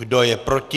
Kdo je proti?